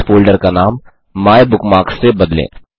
इस फ़ोल्डर का नाम माइबुकमार्क्स से बदलें